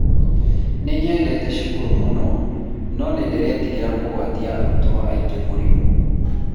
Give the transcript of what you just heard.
nĩnyendete cukuru mũno, no nĩndĩretigĩra kũgwatia arutwo angĩ mũrimũ